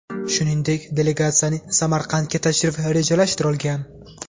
Shuningdek, delegatsiyaning Samarqandga tashrifi rejalashtirilgan.